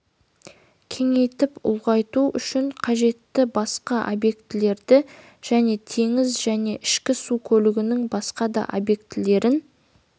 кеңейтіп ұлғайту үшін қажетті басқа объектілерді және теңіз және ішкі су көлігінің басқа да объектілерін